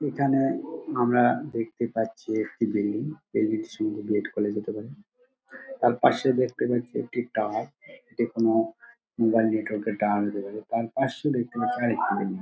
এখানে আমরা দেখতে পাচ্ছি একটি বিল্ডিং | বিল্ডিং -টি সম্ববত বি .এড কলেজ হতে পারে | তার পাশে দেখতে পাচ্ছি একটি টাওয়ার টেকনো বা নেটওয়ার্ক -এর টাওয়ার হতে পারে তার পশে দেখতে পাচ্ছি আর একটি বিল্ডিং ।